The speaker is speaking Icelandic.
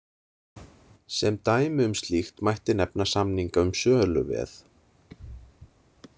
Sem dæmi um slíkt mætti nefna samninga um söluveð.